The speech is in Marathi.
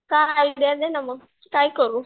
काय आयडिया दे ना मग काय करू?